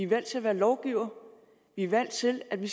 valgt til at være lovgivere vi er valgt til at vi